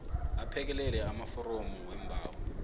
aphekelele amaforomu weembawo